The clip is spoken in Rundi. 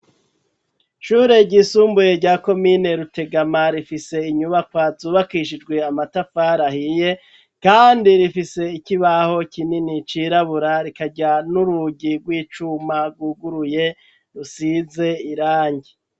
Ishure ryisumbuye rya komine Rutegama rifise inyubakwa zubakishijwe amatafar 'ahiye kandi rifise ikibaho kinini cirabura rikarya n'urugi rw'icuma rwuguruye rusize irangi.